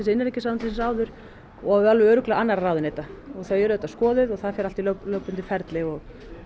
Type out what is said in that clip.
innanríkisráðuneytisins áður og örugglega annarra ráðuneyta þau eru auðvitað skoðuð og það fer allt í lögbundið ferli og